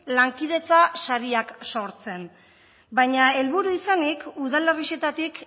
lankidetza sareak sortzen baina helburu izanik udalerrixetatik